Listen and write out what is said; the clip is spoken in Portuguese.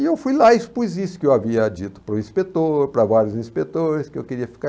E eu fui lá e expus isso que eu havia dito para o inspetor, para vários inspetores que eu queria ficar.